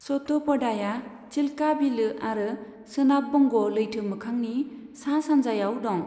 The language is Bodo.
सतपदाया चिल्का बिलो आरो सोनाब बंग' लैथो मोखांनि सा सानजायाव दं।